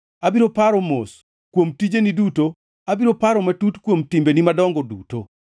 Abiro paro mos kuom tijeni duto, abiro paro matut kuom timbeni madongo duto.”